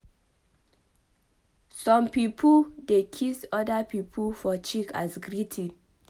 Some pipo dey kiss oda pipo for cheek as greeting